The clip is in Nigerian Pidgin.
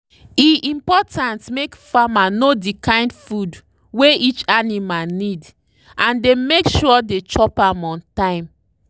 e important make farmer know the kind food wey each animal need and dey make sure the chop am on time.